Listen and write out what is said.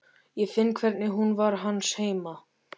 Ég finn hvernig hún var hans heima.